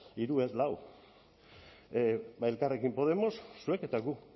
hiru lau ba elkarrekin podemos zuek eta gu